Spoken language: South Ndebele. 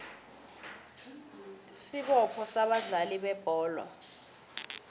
isibopho sabadlali bebholo